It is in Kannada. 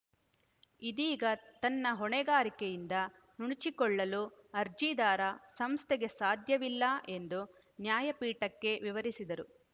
ಇದೀಗ ತನ್ನ ಹೊಣೆಗಾರಿಕೆಯಿಂದ ನುಣುಚಿಕೊಳ್ಳಲು ಅರ್ಜಿದಾರ ಸಂಸ್ಥೆಗೆ ಸಾಧ್ಯವಿಲ್ಲ ಎಂದು ನ್ಯಾಯಪೀಠಕ್ಕೆ ವಿವರಿಸಿದರು